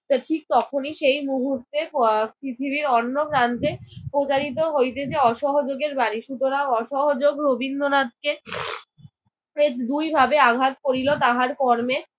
ঠিক তখনি সেই মুহূর্তে আহ পৃথিবীর অন্য প্রান্তে প্রচারিত হইতেছে অসহযোগের বারীশ। সুতরাং অসহযোগ রবীন্দ্রনাথকে দুইভাবে আঘাত করিল। তাহার কর্মে